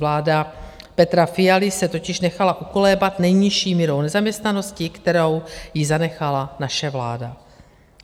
Vláda Petra Fialy se totiž nechala ukolébat nejnižší mírou nezaměstnanosti, kterou jí zanechala naše vláda.